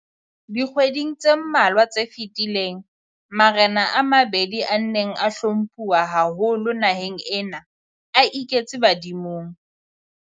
Dikgweding tse mmalwa tse fetileng, marena a mabedi a neng a hlomphuwa haholo naheng ena a iketse badimong.